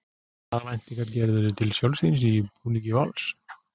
Hvaða væntingar gerirðu til sjálfs þíns í búningi Vals?